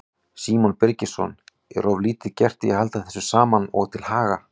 Símon Birgisson: Er of lítið gert í að halda þessu saman og til haga?